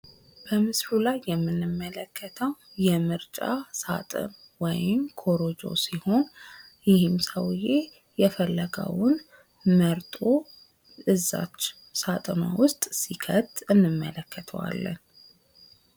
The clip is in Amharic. በምስሉ ላይ የምንመለከተው የምርጫ ሳጥን ወይም ኮረጆ ሲሆን ይህም ሰውዬ የፈለገውን መርጦ እዛች ሳጥኗ ውስጥ ሲከት እንመለከተዋለን።